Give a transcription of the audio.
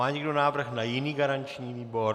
Má někdo návrh na jiný garanční výbor?